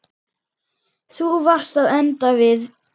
Þú varst að enda við.